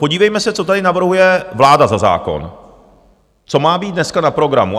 Podívejme se, co tady navrhuje vláda za zákon, co má být dneska na programu.